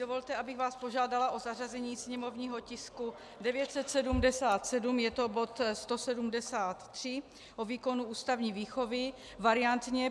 Dovolte, abych vás požádala o zařazení sněmovního tisku 977, je to bod 173 o výkonu ústavní výchovy, variantně.